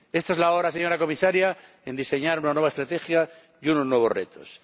Esta es la hora, señora Comisaria, de diseñar una nueva estrategia y unos nuevos retos.